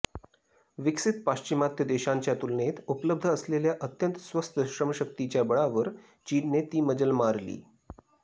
विकसित पाश्चिमात्य देशांच्या तुलनेत उपलब्ध असलेल्या अत्यंत स्वस्त श्रमशक्तीच्या बळावर चीनने ती मजल मारली